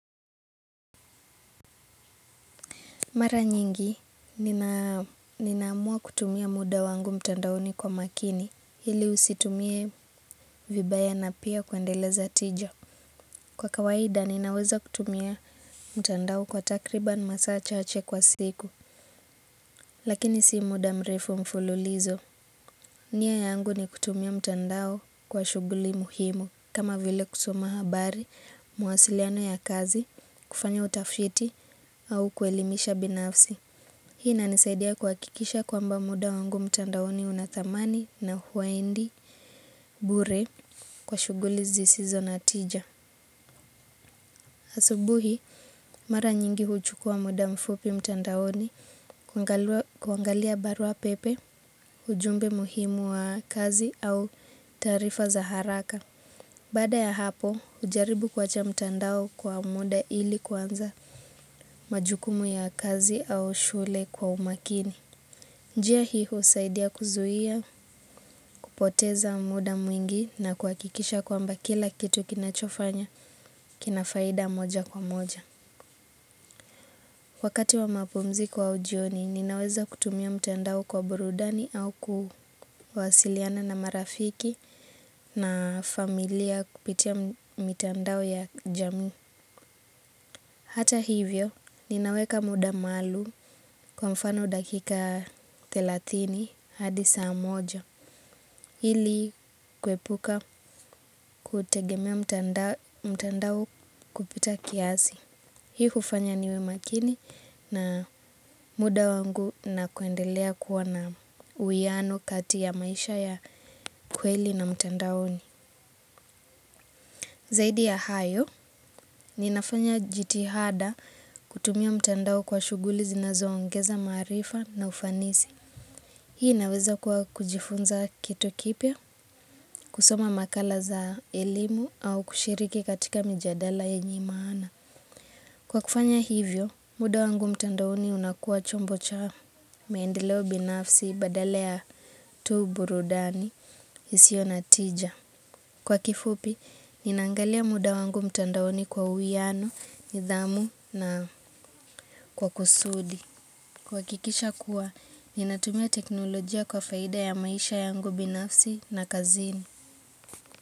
Mara nyingi, ninamua kutumia muda wangu mtandaoni kwa makini, hili usitumie vibaya na pia kuendeleza tija. Kwa kawaida, ninaweza kutumia mtandao kwa takribani masaa chaache kwa siku, lakini si muda mrefu mfululizo. Nia yangu ni kutumia mtandao kwa shuguli muhimu, kama vile kusoma habari, mawasiliano ya kazi, kufanya utafiti, au kuelimisha binafsi. Hii na nisaidia kuhakikisha kwamba muda wangu mtandaoni unadhamani na hauendi bure kwa shuguli zisizo na tija. Asubuhi mara nyingi huchukua muda mfupi mtandaoni kuangalia barua pepe, ujumbe muhimu wa kazi au tarifa za haraka. Bada ya hapo hujaribu kwa cha mtandao kwa muda ili kuanza majukumu ya kazi au shule kwa umakini. Njia hii husaidia kuzuia kupoteza muda mwingi na kuhakikisha kwa mba kila kitu kinachofanya kinafaida moja kwa moja. Wakati wa mapumziko au jioni ninaweza kutumia mtandao kwa burudani au kuwasiliana na marafiki na familia kupitia mitandao ya jamii. Hata hivyo, ninaweka muda maalum kwa mfano dakika thelathini hadi saa moja. Ili kuepuka kutegemea mtandao kupita kiasi. Hii hufanya niwe makini na muda wangu na kuendelea kuwa na uwiano kati ya maisha ya kweli na mtandaoni. Zaidi ya hayo, ninafanya jitihada kutumia mtandao kwa shuguli zinazoongeza marifa na ufanisi. Hii inaweza kuwa kujifunza kitu kipya, kusoma makala za elimu au kushiriki katika mijadala yenye maana. Kwa kufanya hivyo, muda wangu mtandaoni unakua chombo cha maendeleo binafsi badala ya tu burudani isiyo na tija. Kwa kifupi, ninaangalia muda wangu mtandaoni kwa uwiano, nidhamu na kwa kusudi. Kwa kikisha kuwa, ninatumia teknolojia kwa faida ya maisha yangu binafsi na kazini.